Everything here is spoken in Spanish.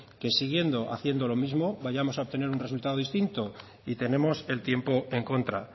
que siguiendo haciendo lo mismo vayamos a obtener un resultado distinto y tenemos el tiempo en contra